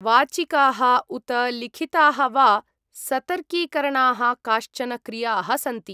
वाचिकाः उत लिखिताः वा सतर्कीकरणाः काश्चन क्रियाः सन्ति।